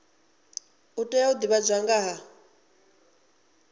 tea u divhadzwa nga ha